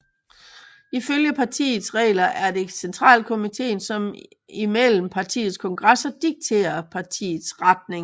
Ifølge partiets regler er det centralkomitéen som imellem partiets kongresser dikterer partiets retning